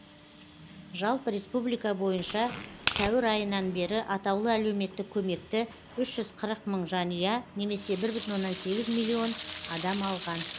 жалпы республика бойынша сәуір айынан бері атаулы әлеуметтік көмекті үш жүз қырық мың жанұя немесе бір бүтін оннан сегіз миллион адам алған